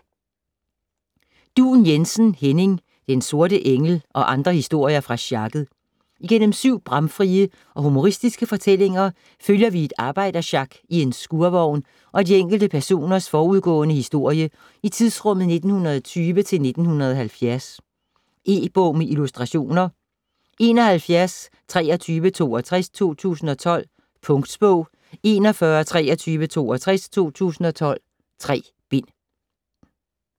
Duun Jensen, Henning: Den sorte engel - og andre historier fra sjakket Igennem syv bramfrie og humoristiske fortællinger følger vi et arbejdersjak i en skurvogn og de enkelte personers forudgående historie i tidsrummet 1920-1970. E-bog med illustrationer 712362 2012. Punktbog 412362 2012. 3 bind.